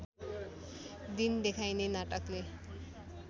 दिन देखाइने नाटकले